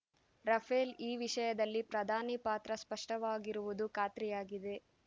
Rafale ಈ ವಿಷಯದಲ್ಲಿ ಪ್ರಧಾನಿ ಪಾತ್ರ ಸ್ಪಷ್ಟವಾಗಿರುವುದು ಖಾತ್ರಿಯಾಗಿದೆ